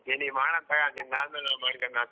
ನಿನಿಗ್ ಮಾಡನ್ ತಗೋ ನೀನ್ ನಿಂದ್ ಆದ್ಮೇಲ್ ನ ಮಾಡ್ಕೊಂಡ್ರಾತ್.